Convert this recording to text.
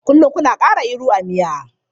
Kullum kuna ƙara iru a miya.